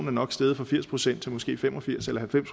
er nok steget fra firs procent til måske fem og firs eller halvfems